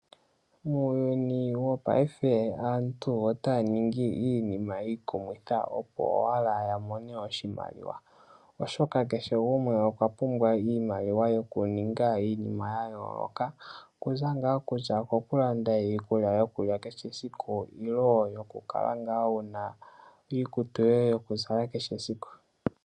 Muuyuni wopaife aantu otaya ningi iinima iikumitha, opo owala ya mone oshimaliwa, oshoka kehe gumwe okwa pumbwa iimaliwa yokuninga iinima ya yooloka. Okuza ngaa kokulanda iikulya yokulya kehe esiku nenge okukala wu na iikutu yoye yokuzala kehe esiku.